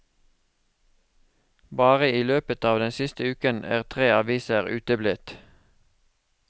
Bare i løpet av den siste uken er tre aviser uteblitt.